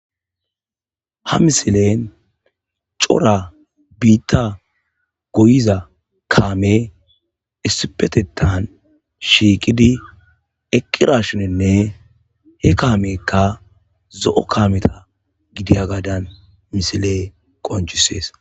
Ha misilen cora biitta goyiza kaame issipetetan shiiqidi eqqirashuninne he kaamekka zo7o kaameta gidiya gadan misile qonjusees.